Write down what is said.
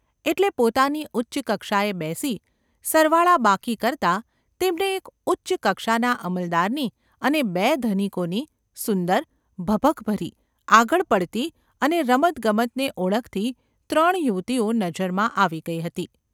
એટલે પોતાની ઉચ્ચ કક્ષાએ બેસી, સરવાળાબાકી કરતાં તેમને એક ઉચ્ચ કક્ષાના અમલદારની અને બે ધનિકોની સુંદર, ભભકભરી, આગળ પડતી અને રમતગમતને ઓળખતી ત્રણ યુવતીઓ નજરમાં આવી ગઈ હતી.